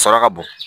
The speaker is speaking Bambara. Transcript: Saraka bon